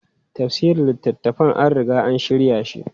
Tafsirin littafan an riga an shirya shi.